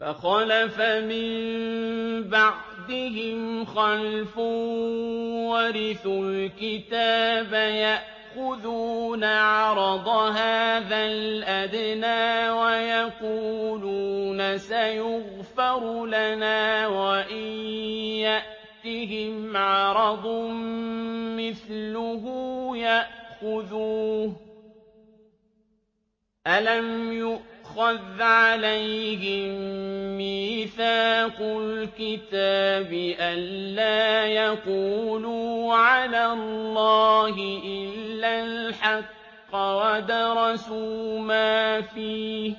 فَخَلَفَ مِن بَعْدِهِمْ خَلْفٌ وَرِثُوا الْكِتَابَ يَأْخُذُونَ عَرَضَ هَٰذَا الْأَدْنَىٰ وَيَقُولُونَ سَيُغْفَرُ لَنَا وَإِن يَأْتِهِمْ عَرَضٌ مِّثْلُهُ يَأْخُذُوهُ ۚ أَلَمْ يُؤْخَذْ عَلَيْهِم مِّيثَاقُ الْكِتَابِ أَن لَّا يَقُولُوا عَلَى اللَّهِ إِلَّا الْحَقَّ وَدَرَسُوا مَا فِيهِ ۗ